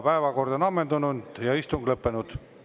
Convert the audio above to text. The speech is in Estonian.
Päevakord on ammendunud ja istung lõppenud.